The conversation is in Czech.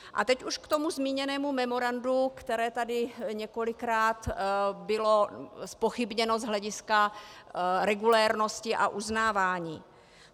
A teď už k tomu zmíněnému memorandu, které tady několikrát bylo zpochybněno z hlediska regulérnosti a uznávání.